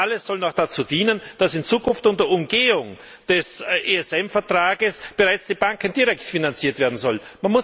Und das alles soll noch dazu dienen, dass in Zukunft unter Umgehung des ESM Vertrags bereits die Banken direkt finanziert werden sollen.